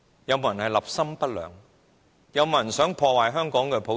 有沒有人想破壞香港的普選？